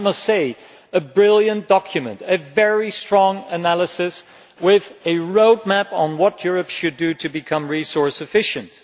I must say it was a brilliant document and a very strong analysis, with a roadmap on what Europe should do to become resource efficient.